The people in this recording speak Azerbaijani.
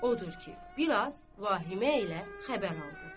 Odur ki, biraz vahimə ilə xəbər oldu.